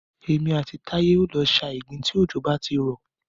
Èmi àti Táyé o lọ sa ìgbín tí òjò bá ti rọ̀.